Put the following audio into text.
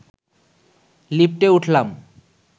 লিফটে উঠলাম